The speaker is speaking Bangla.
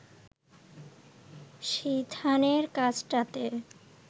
সিথানের কাছটাতে